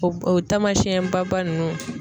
O o taamasiyɛn baba ninnu.